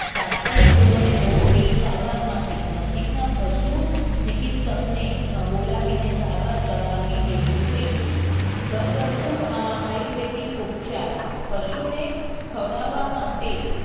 તાત્કાલિક ધોરણે રોગ ની સારવાર માટે નજીક ના પશુ ચીક્ત્સક ને બોલાવી ને સારવાર કરાવી લેવી જોઈએ ઘરગથું આયુર્વેદિક ઉપચાર પશુ ને ખવડાવવા માટે